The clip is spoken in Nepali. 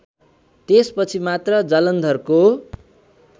त्यसपछि मात्र जालन्धरको